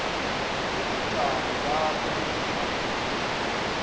nobujamo bakho bezamaphilo